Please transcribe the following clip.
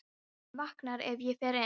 Hún vaknar ef ég fer inn.